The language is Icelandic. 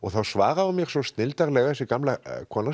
svaraði mér svo snilldarlega þessi gamla kona sem